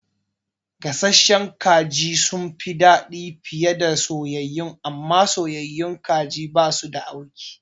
Gasasshen kaji sunfi dadi fiye da soyayyu, amma soyayyun kaji basu da auki